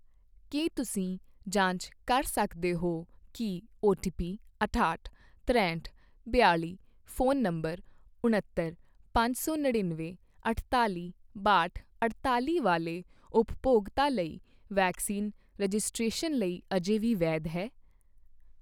ਕੀ ਤੁਸੀਂ ਜਾਂਚ ਕਰ ਸਕਦੇ ਹੋ ਕੀ ਓਟੀਪੀ ਅਠਾਹਟ, ਤਰੇਹਠ, ਬਿਆਲ਼ੀ ਫ਼ੋਨ ਨੰਬਰ ਉਣੱਤਰ, ਪੰਜ ਸੌ ਨੜਿੱਨਵੇਂ, ਅਠਤਾਲ਼ੀ, ਬਾਹਟ, ਅਠਤਾਲ਼ੀ ਵਾਲੇ ਉਪਭੋਗਤਾ ਲਈ ਵੈਕਸੀਨ ਰਜਿਸਟ੍ਰੇਸ਼ਨ ਲਈ ਅਜੇ ਵੀ ਵੈਧ ਹੈ?